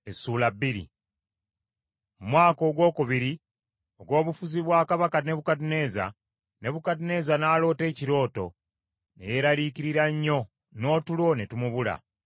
Mu mwaka ogwokubiri ogw’obufuzi bwa kabaka Nebukadduneeza, Nebukadduneeza n’aloota ekirooto; ne yeeraliikirira nnyo, n’otulo ne tumubula.